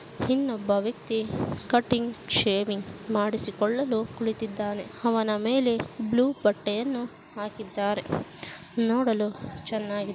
ಇನ್ನೊಬ್ಬ ಒಬ್ಬ ವ್ಯಕ್ತಿ ಕಟಿಂಗ್ ಶೇವಿಂಗ್ ಮಾಡಿಸಿಕೊಳ್ಳಲು ಕುಳಿತಿದ್ದಾನೆ. ಹವನ ಮೇಲೆ ಬ್ಲೂ ಬಟ್ಟೆಯನ್ನು ಹಾಕಿದ್ದಾರೆ. ನೋಡಲು ಚನ್ನಾಗಿ--